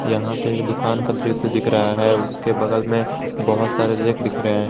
यहां पे एक दुकान का दृश्य दिख रहा है उसके बगल में बहुत सारे रैंक रहे हैं।